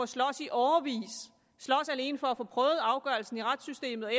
slås i årevis slås alene for at få prøvet afgørelsen i retssystemet og